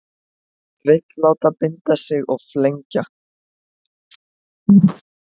Vill láta binda sig og flengja